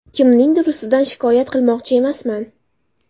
Kimningdir ustidan shikoyat qilmoqchi emasman.